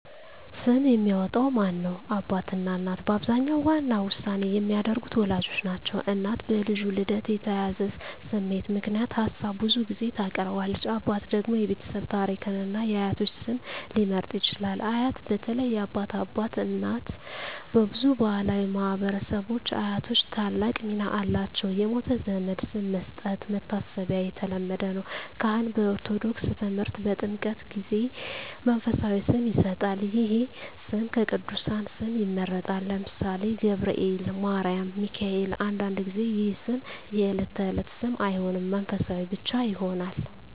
ስም የሚያወጣው ማን ነው? አባትና እናት በአብዛኛው ዋና ውሳኔ የሚያደርጉት ወላጆች ናቸው። እናት በልጁ ልደት የተያያዘ ስሜት ምክንያት ሀሳብ ብዙ ጊዜ ታቀርባለች። አባት ደግሞ የቤተሰብ ታሪክን እና የአያቶች ስም ሊመርጥ ይችላል። አያት (በተለይ የአባት አባት/እናት) በብዙ ባሕላዊ ማኅበረሰቦች አያቶች ታላቅ ሚና አላቸው። የሞተ ዘመድ ስም መስጠት (መታሰቢያ) የተለመደ ነው። ካህን (በኦርቶዶክስ ተምህርት) በጥምቀት ጊዜ መንፈሳዊ ስም ይሰጣል። ይህ ስም ከቅዱሳን ስም ይመረጣል (ለምሳሌ፦ ገብርኤል፣ ማርያም፣ ሚካኤል)። አንዳንድ ጊዜ ይህ ስም የዕለት ተዕለት ስም አይሆንም፣ መንፈሳዊ ብቻ ይሆናል።